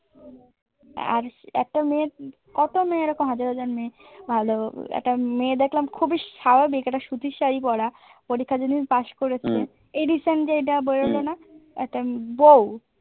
আর একটা মেয়ের কত মেয়ে এরকম হাজার হাজার মেয়ে ভালো একটা মেয়ে দেখলাম খুবই স্বাভাবিক একটা সুচির শাড়ি পরা পরীক্ষার যেদিন পাশ করেছে এই recent যে এটা বেরোলো না একটা বউ